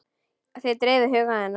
Það dreifði huga hennar.